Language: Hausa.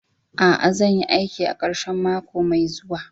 A'a, zan yi aiki a karshen mako mai zuwa.